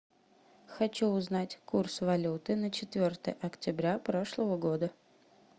хочу узнать курс валюты на четвертое октября прошлого года